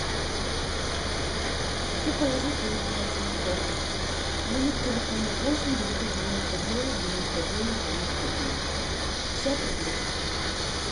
хочу положить деньги на телефон номер телефона восемь девятьсот девяносто девять девяносто девять девяносто девять пятьдесят рублей